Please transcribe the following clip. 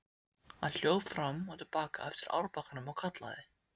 Hann hljóp fram og til baka eftir árbakkanum og kallaði.